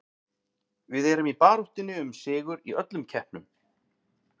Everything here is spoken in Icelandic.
Við erum í baráttunni um sigur í öllum keppnum.